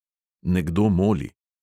Nekdo moli.